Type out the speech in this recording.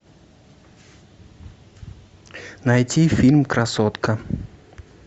найти фильм красотка